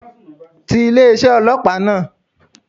Ti ilé isé ọlọ́pàá náà